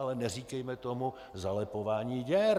Ale neříkejme tomu zalepování děr!